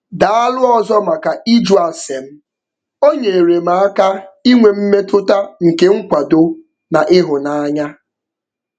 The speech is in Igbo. Daalụ ọzọ maka ịjụ ase m - o nyeere m aka inwe mmetụta nke nkwado na ịhụ anya.